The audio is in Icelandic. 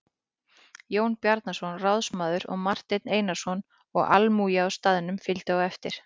Jón Bjarnason ráðsmaður og Marteinn Einarsson og almúgi á staðnum fylgdi á eftir.